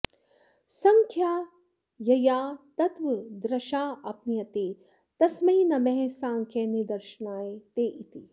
सङ्ख्या यया तत्त्वदृशापनीयते तस्मै नमः साङ्ख्यनिदर्शनाय ते इति